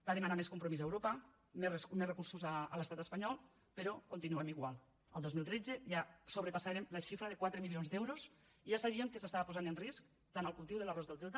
va demanar més compromís a europa més recursos a l’estat espanyol però continuem igual el dos mil tretze ja sobrepassàvem la xifra de quatre milions d’euros i ja sabíem que s’estaven posant en risc tant el cultiu de l’arròs del delta